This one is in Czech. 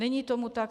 Není tomu tak.